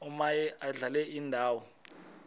omaye adlale indawo